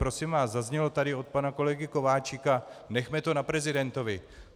Prosím vás, zaznělo tady od pana kolegy Kováčika - nechme to na prezidentovi.